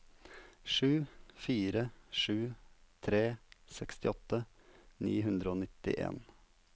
sju fire sju tre sekstiåtte ni hundre og nittien